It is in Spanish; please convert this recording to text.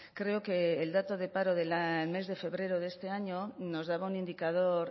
creo que el dato del paro del mes de febrero de este año nos daba un indicador